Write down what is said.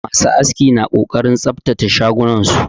Masu aski na ƙoƙarin tsabtace shagunan su